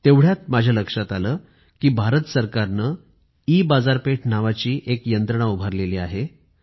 तेवढ्यात माझ्या लक्षात आले की भारत सरकार ने ईबाजारपेठ नावाची एक यंत्रणा उभारली आहे